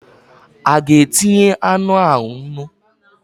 A ga-etinye anụ ahụ nnu?